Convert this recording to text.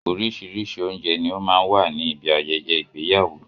Oríṣiríṣi oúnjẹ ní ó máa ń wà ní ibi ayẹyẹ igbéyàwó.